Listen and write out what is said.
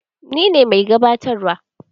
Ni ne mai gabatarwa.